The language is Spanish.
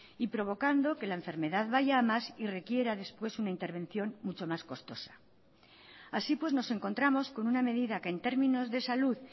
y provocando que la enfermedad vaya a más y requiera después una intervención mucho más costosa así pues nos encontramos con una medida que en términos de salud